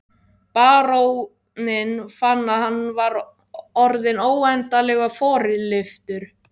Baróninn fann að hann var orðinn óendanlega forlyftur.